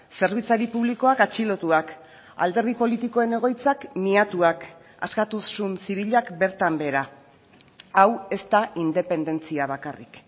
zerbitzari publikoak atxilotuak alderdi politikoen egoitzak miatuak askatasun zibilak bertan behera hau ez da independentzia bakarrik